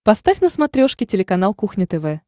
поставь на смотрешке телеканал кухня тв